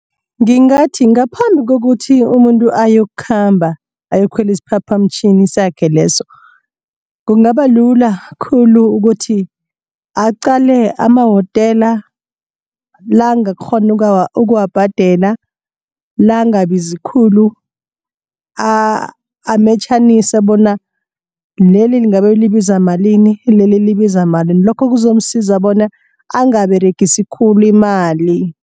Ngingathi ngaphambi kokuthi umuntu ayokukhamba ayokukhwela isiphaphamtjhini sakhe leso. Kungabalula khulu ukuthi aqale amahotela la angakghona ukuwabhadela la angabizi khulu ametjhanise bona leli ngabe libiza malini leli libiza malini lokho kuzomsiza bona angaberegise khulu imali.